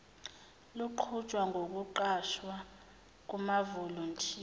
luqhutshwa ngokuqashwa kwamavolontiya